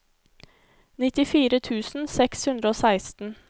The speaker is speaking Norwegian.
nittifire tusen seks hundre og seksten